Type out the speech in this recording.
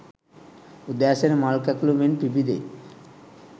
උදෑසන මල් කැකුළු මෙන් පිබිදෙයි.